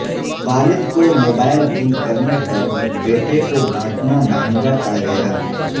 والد کو موبائل گم کرنے پر بیٹے کو ڈانٹنا مہنگا پڑ گیا